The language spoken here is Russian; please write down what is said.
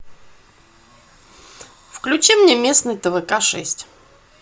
включи мне местный твк шесть